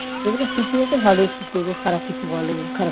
যেগুলো শিখিয়েছে ভালোই শিখিয়েছে খারাপ কিছু বলেনি খারাপ